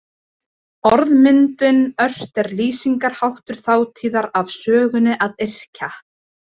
Orðmyndin ort er lýsingarháttur þátíðar af sögninni að yrkja.